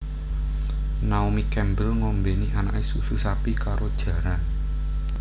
Naomi Campbell ngombeni anake susu sapi karo jaran